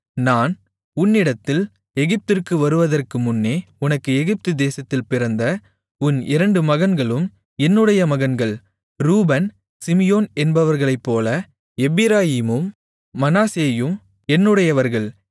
நான் உன்னிடத்தில் எகிப்திற்கு வருவதற்குமுன்னே உனக்கு எகிப்துதேசத்தில் பிறந்த உன் இரண்டு மகன்களும் என்னுடைய மகன்கள் ரூபன் சிமியோன் என்பவர்களைப்போல எப்பிராயீமும் மனாசேயும் என்னுடையவர்கள்